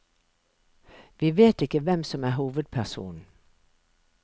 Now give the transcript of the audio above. Vi vet ikke hvem som er hovedpersonen.